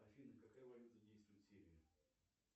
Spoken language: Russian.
афина какая валюта действует в сирии